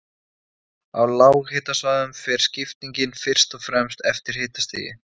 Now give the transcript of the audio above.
Á lághitasvæðunum fer skiptingin fyrst og fremst eftir hitastigi.